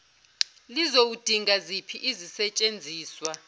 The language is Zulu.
lizoudinga ziphi izisetshenziswa